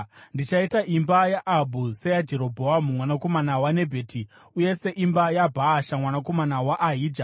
Ndichaita imba yaAhabhu seyaJerobhoamu, mwanakomana waNebhati, uye seimba yaBhaasha, mwanakomana waAhija.